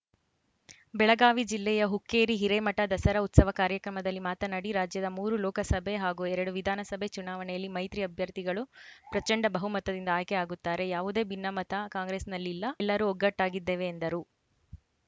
ಬೆಳಗಾವಿ ಜಿಲ್ಲೆಯ ಹುಕ್ಕೇರಿ ಹಿರೇಮಠ ದಸರಾ ಉತ್ಸವ ಕಾರ್ಯಕ್ರಮದಲ್ಲಿ ಮಾತನಾಡಿ ರಾಜ್ಯದ ಮೂರು ಲೋಕಸಭೆ ಹಾಗೂ ಎರಡು ವಿಧಾನಸಭೆ ಚುನಾವಣೆಯಲ್ಲಿ ಮೈತ್ರಿ ಅಭ್ಯರ್ಥಿಗಳು ಪ್ರಚಂಡ ಬಹುಮತದಿಂದ ಆಯ್ಕೆ ಆಗುತ್ತಾರೆ ಯಾವುದೇ ಭಿನ್ನಮತ ಕಾಂಗ್ರೆಸ್‌ನಲ್ಲಿಲ್ಲ ಎಲ್ಲರೂ ಒಗ್ಗಟಾಗಿದ್ದೇವೆ ಎಂದರು